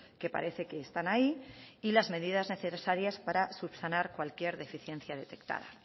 que parece que están ahí y las medidas necesarias para subsanar cualquier deficiencia detectada